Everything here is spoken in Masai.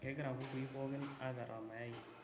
kegira kukui pookin apetaa mayai